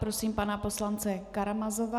Prosím pana poslance Karamazova.